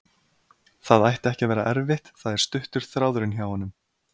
Það ætti ekki að vera erfitt, það er stuttur þráðurinn hjá honum.